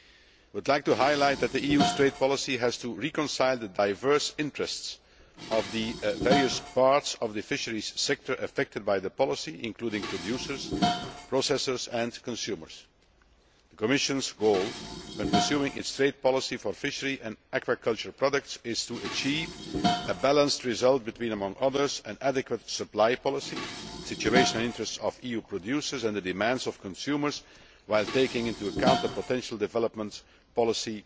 I would like to highlight that the EU's trade policy has to reconcile the diverse interests of the various parts of the fisheries sector affected by the policy, including producers, processors and consumers. The Commission's goal when pursuing its trade policy for fishery and aquaculture products is to achieve a balanced result between, among other things, an adequate supply policy, the situation and interests of EU producers and the demands of consumers, while taking into account potential development policy